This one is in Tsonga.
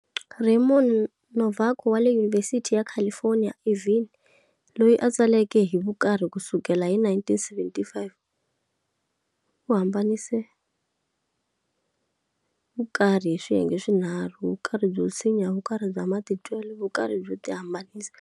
Raymond Novaco wale Univhesithi ya California Irvine, loyi a tsaleke hi vukarhi ku sukela hi 1975, u hambanise vukarhi hi swiyenge swinharhu-Vukarhi byo tshinya, Vukarhi bya matitwele, vukarhi byo ti hambanisa.